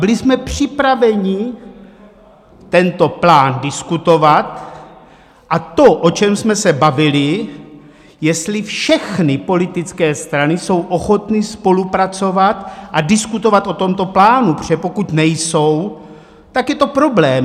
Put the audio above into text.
Byli jsme připraveni tento plán diskutovat a to, o čem jsme se bavili, jestli všechny politické strany jsou ochotny spolupracovat a diskutovat o tomto plánu, protože pokud nejsou, tak je to problém.